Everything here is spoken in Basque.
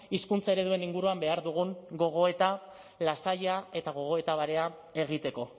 hizkuntza ereduen inguruan behar dugun gogoeta lasaia eta gogoeta barea egiteko